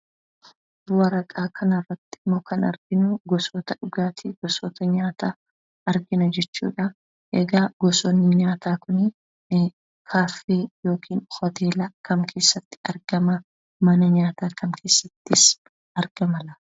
Waraqaa kanarratti kan arginu, gosoota dhugaatii ,gosoota nyaataa argina jechuudha. Egaa gosoonni nyaataa kun, kaaffee yookiin hoteela kam keessatti argama? Mana nyaataa kam keessattis argama laata?